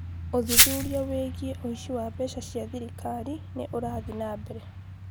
ũthuthuria wĩgiĩ ũici wa mbeca cia thirikari nĩ ũrathiĩ na mbere